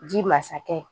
Ji masakɛ